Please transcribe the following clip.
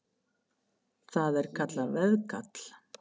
Það er kallað veðkall.